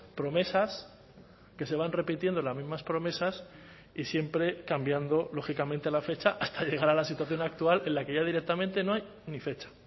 promesas que se van repitiendo las mismas promesas y siempre cambiando lógicamente la fecha hasta llegar a la situación actual en la que ya directamente no hay ni fecha